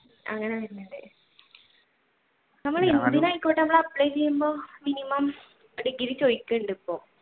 നമ്മൾ എന്തിനായിക്കോട്ടെ നമ്മൾ apply ചെയുമ്പോൾ minimum degree ചോയ്ക്കുന്നുണ്ട് ഇപ്പോൾ